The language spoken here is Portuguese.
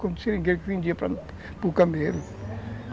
Foi um seringueiro que vendia para o para o Camelo